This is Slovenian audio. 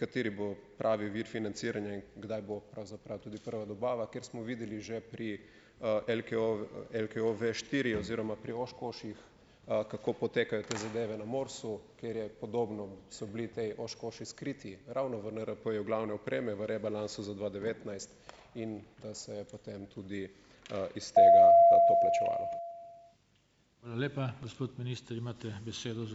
kateri bo pravi vir financiranja in kdaj bo pravzaprav tudi prva dobava, kjer smo videli že pri, LKOV LKOV štiri oziroma pri Oshkoshih, kako potekajo te zadeve na MORS-u, kjer je podobno so bili tej Oshkoshi skriti ravno v NRP-ju glavne opreme, v rebalansu za dva devetnajst in da se potem tudi, iz tega to plačevalo.